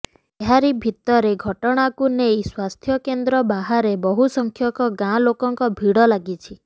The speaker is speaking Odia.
ଏହାରି ଭିତରେ ଘଟଣାକୁ ନେଇ ସ୍ବାସ୍ଥ୍ୟ କେନ୍ଦ୍ର ବାହାରେ ବହୁ ସଂଖ୍ୟକ ଗାଁ ଲୋକଙ୍କ ଭିଡ଼ ଲାଗିଛି